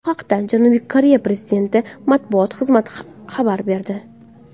Bu haqda Janubiy Koreya prezidenti matbuot xizmati xabar berdi .